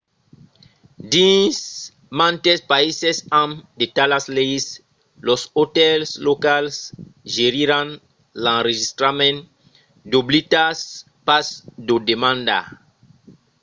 dins mantes païses amb de talas leis los otèls locals geriràn l'enregistrament doblidatz pas d'o demandar